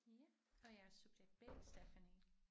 Ja og jeg er subjekt B Stephanie